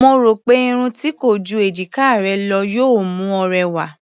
Mo rò pé irun tí kò ju èjiká rẹ lọ yóò mú ọ rẹwà.